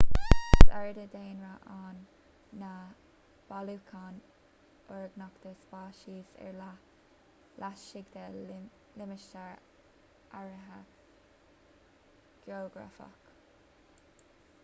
is éard is daonra ann ná bailiúchán orgánach de speiceas ar leith laistigh de limistéar áirithe geografach